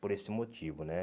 Por esse motivo, né?